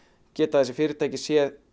geta þessi fyrirtæki séð